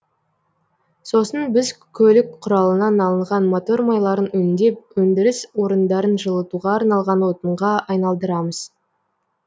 сосын біз көлік құралынан алынған мотор майларын өңдеп өндіріс орындарын жылытуға арналған отынға айналдырамыз